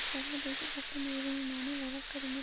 சர்வதேச சட்ட நிறுவனமான வழக்கறிஞர்